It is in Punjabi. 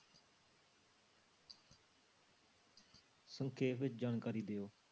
ਸੰਖੇਪ ਵਿੱਚ ਜਾਣਕਾਰੀ ਦਿਓ।